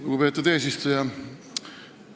Lugupeetud eesistuja!